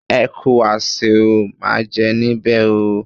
Ẹ kú àsè o, máa jẹ níbè o.